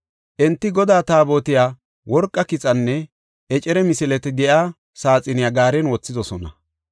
Enti Godaa Taabotiya, worqa kixanne ecere misileti de7iya saaxiniya gaaren wothidosona.